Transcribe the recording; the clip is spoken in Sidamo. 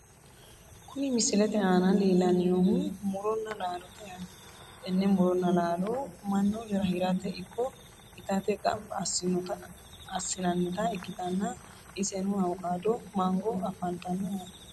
Kuni misilete aana leellanni noohu muronna laalote yaate, tenne muronna laalo mannu hirate ikko itate gamba assinannita ikkitanna, iseno awukaado, mango afantanno yaate.